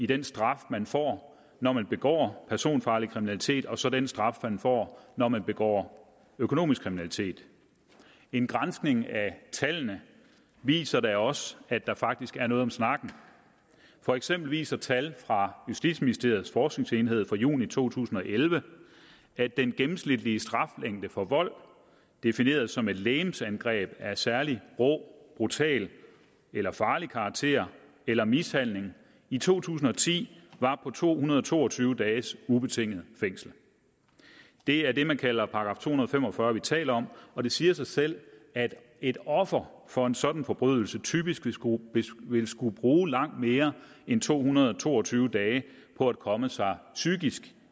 den straf man får når man begår personfarlig kriminalitet og så den straf man får når man begår økonomisk kriminalitet en granskning af tallene viser da også at der faktisk er noget om snakken for eksempel viser tal fra justitsministeriets forskningsenhed fra juli to tusind og elleve at den gennemsnitlige straflængde for vold defineret som et legemsangreb af særlig rå brutal eller farlig karakter eller mishandling i to tusind og ti var på to hundrede og to og tyve dages ubetinget fængsel det er det man kalder § to hundrede og fem og fyrre vi taler om og det siger sig selv at et offer for en sådan forbrydelse typisk vil skulle vil skulle bruge langt mere end to hundrede og to og tyve dage på at komme sig psykisk